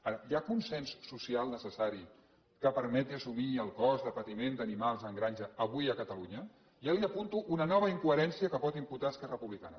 ara hi ha consens social necessari que permeti assumir el cost del patiment d’animals en granja avui a catalunya ja li apunto una nova incoherència que pot imputar a esquerra republicana